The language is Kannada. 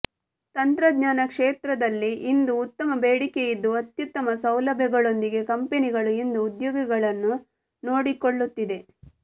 ತಂತ್ರಜ್ಞಾನ ಕ್ಷೇತ್ರದಲ್ಲಿ ಇಂದು ಉತ್ತಮ ಬೇಡಿಕೆ ಇದ್ದು ಅತ್ಯುತ್ತಮ ಸೌಲಭ್ಯಗಳೊಂದಿಗೆ ಕಂಪೆನಿಗಳು ಇಂದು ಉದ್ಯೋಗಿಗಳನ್ನು ನೋಡಿಕೊಳ್ಳುತ್ತಿದೆ